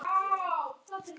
spurði Jóhann.